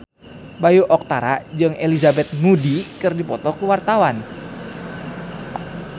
Bayu Octara jeung Elizabeth Moody keur dipoto ku wartawan